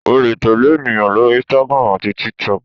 o le tẹle eniyan lori Instagram ati TikTok.